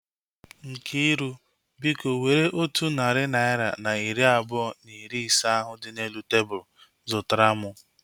Nkiru, biko were otu narị naira na iri abụọ na ise ahu dị n'elu tebụlu zụtara mụ